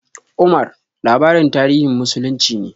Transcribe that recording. "Omar" labarin tarihin muslunci ne.